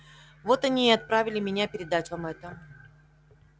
вот они и отправили меня передать вам это